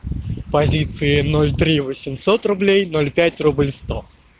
позиции ноль три восемьсот рублей ноль пять рубль сто